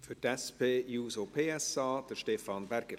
Für die SP-JUSO-PSA, Stefan Berger.